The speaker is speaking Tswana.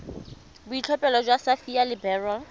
boitlhophelo jwa sapphire le beryl